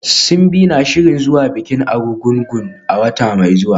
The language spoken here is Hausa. Simbi na shirin zuwa bikin Arugungu a wata mai zuwa.